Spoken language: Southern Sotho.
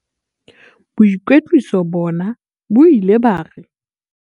"Boikwetliso bona bo ile ba re"